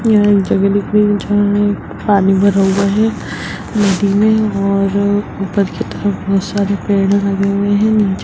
यह एक जगह दिख रही है जहां एक पानी भर हुआ है नदी में और ऊपर कि तरफ बहुत सारे पेड़ लगे हुए है नीचे --